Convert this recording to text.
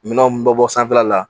Minɛnw bɛ bɔ sanfɛla la.